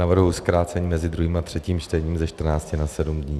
Navrhuji zkrácení mezi druhým a třetím čtením ze 14 na 7 dní.